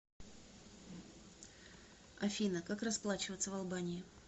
афина как расплачиваться в албании